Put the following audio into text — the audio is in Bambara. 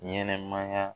Ɲɛnɛmaya